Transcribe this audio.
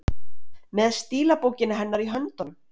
Með stílabókina hennar í höndunum!